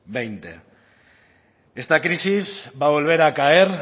veinte esta crisis va a volver a caer